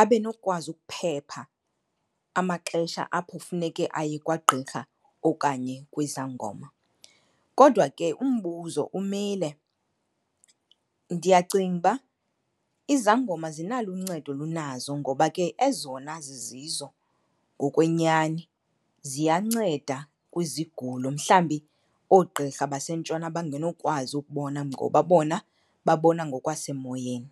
abe nokwazi ukuphepha amaxesha apho funeke aye kwagqirha okanye kwizangoma. Kodwa ke umbuzo umile. Ndiyacinga uba izangoma zinalo uncedo olunazo ngoba ke ezona zizizo ngokwenyani ziyanceda kwizigulo mhlawumbi oogqirha basentshona abangenokwazi ukubona ngoba bona babona ngokwasemoyeni.